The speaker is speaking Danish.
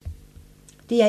DR1